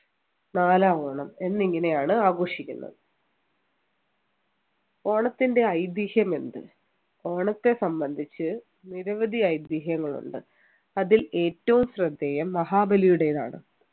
നാലാം ഓണം എന്നിങ്ങനെയാണ് ആഘോഷിക്കുന്നത് ഓണത്തിൻ്റെ ഐതിഹ്യമെന്ത് ഓണത്തെ സംബന്ധിച്ച് നിരവധി ഐതിഹ്യങ്ങൾ ഉണ്ട് അതിൽ ഏറ്റവും ശ്രദ്ധേയം മഹാബലിയുടേതാണ്